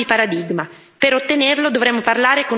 È quindi necessario un cambio di paradigma.